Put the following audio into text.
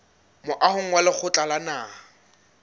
moahong wa lekgotla la naha